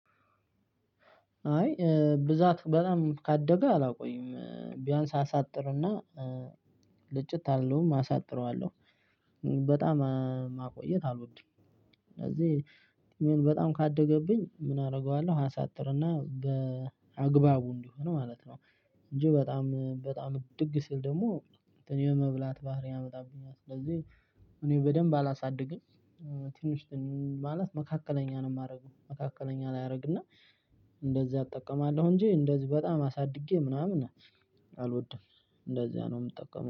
አይ ብዛት በጣም ካደገ አላቆይም ቢያንስ አሳጥርና ልጭት አልለውም አሳጥረዋለሁ በጣም ማቆየት አሎድም። እኔም በጣምካደገብኝ ምን አደርገዋለሁ አሳ። እኔ። የመብላት ባህሪ ያመጣብኛል ስለዚህ እኔ በደንብ አላሳድግም። ትንሽ ማለት መካከለኛ ነው የማደርገው መካከለኛ ላይ አደርግና እንደዚህ አጠቀማለሁ እንጂ እንደዚህ በጣም አሳድጌ ምናምን አልወድም። እንደዚያ ነው የምጠቀመው